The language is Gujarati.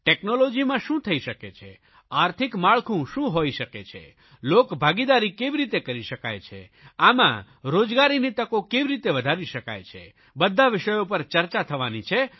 ટેકનોલોજીમાં શું થઇ શકે છે આર્થિક માળખું શું હોઇ શકે છે લોકભાગીદારી કેવી રીતે કરી શકાય છે આમાં રોજગારીની તકો કેવી રીતે વધારી શકાય છે તમામ વિષયો પર ચર્ચા થવાની છે